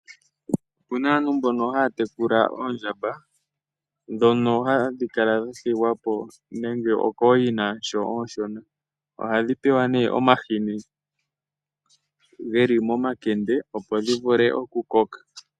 Opu na aantu mbono haya tekula oondjamba, ndhono hadhi kala dha thigwa po nenge okooyina sho oonshona. Ohadhi pewa omahini ge li momakende opo dhi vule okukoka.